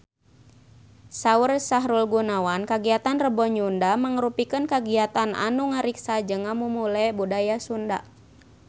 Saur Sahrul Gunawan kagiatan Rebo Nyunda mangrupikeun kagiatan anu ngariksa jeung ngamumule budaya Sunda